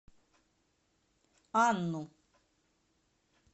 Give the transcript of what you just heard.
анну